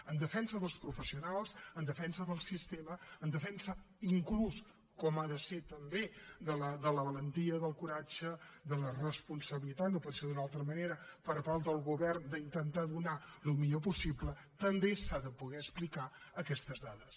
en defensa dels professionals en defensa del sistema en defensa inclús com ha de ser també de la valentia del coratge de la responsabilitat no pot ser d’una altra manera per part del govern d’intentar donar el millor possible també s’han de poder explicar aquestes dades